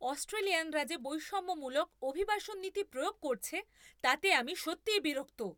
অস্ট্রেলিয়ানরা যে বৈষম্যমূলক অভিবাসন নীতি প্রয়োগ করছে তাতে আমি সত্যিই বিরক্ত।